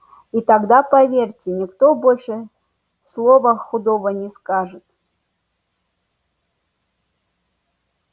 и тогда поверьте никто больше слова худого не скажет